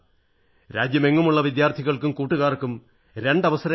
രാജ്യമെങ്ങുമുള്ള വിദ്യാർഥികൾക്കും കൂട്ടുകാർക്കും രണ്ട് അവസരങ്ങൾ ലഭിക്കും